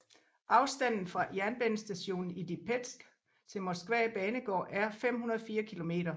Afstanden fra jernbanestationen i Lipetsk til Moskva banegård er 504 km